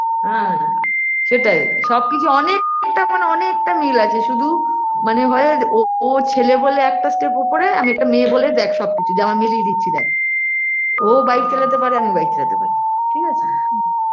হ্যা সেটাই সবকিছু অনেকটা মানে অনেকটা মিল আছে শুধু মানে হয় ও ও ছেলে বলে একটা step উপরে আর আমি একটা মেয়ে বলে দেখ যেমন সব কিছু মিলিয়ে দিচ্ছি দেখ ও ও bike চালাতে পারে আমিও bike চালাতে পারি ঠিকাছে